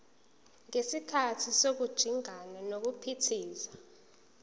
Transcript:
ngesikhathi sokujingana nokuphithiza